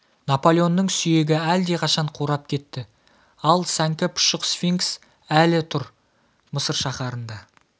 наполеонның сүйегі әлдеқашан қурап кетті ал сәңкі пұшық сфинкс әлі тұр мысыр шаһарында